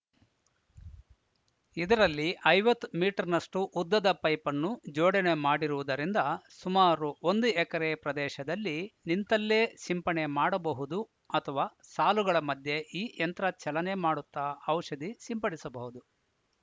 ಇದರಲ್ಲಿ ಐವತ್ ಮೀಟರ್‌ನಷ್ಟುಉದ್ದದ ಪೈಪನ್ನು ಜೋಡಣೆ ಮಾಡಿರುವುದರಿಂದ ಸುಮಾರು ಒಂದು ಎಕರೆ ಪ್ರದೇಶದಲ್ಲಿ ನಿಂತಲ್ಲೇ ಸಿಂಪಡಣೆ ಮಾಡಬಹುದು ಅಥವಾ ಸಾಲುಗಳ ಮಧ್ಯೆ ಈ ಯಂತ್ರ ಚಲನೆ ಮಾಡುತ್ತಾ ಔಷಧಿ ಸಿಂಪಡಿಸಬಹುದು